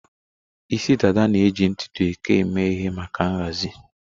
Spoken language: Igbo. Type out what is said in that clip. Isi dada na-eji ntutu eke eme ihe maka nhazi.